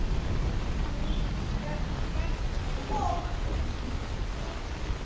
Hann hverfur mér ekki.